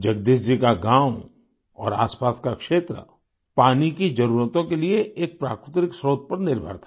जगदीश जी का गाँव और आसपास का क्षेत्र पानी की जरूरतों के लिये के एक प्राकृतिक स्रोत्र पर निर्भर था